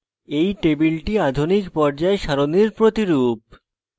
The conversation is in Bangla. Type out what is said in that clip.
এই টেবিলটি আধুনিক পর্যায় সারণীর প্রতিরূপ